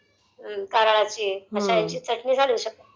कारळाची अश्या ह्याची चटणी टालू शकते..